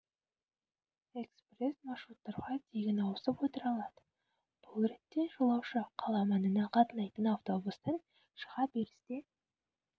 экспресс маршруттарға тегін ауысып отыра алады бұл ретте жолаушы қала маңына қатынайтын автобустан шыға берісте